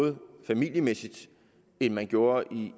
måde familiemæssigt end man gjorde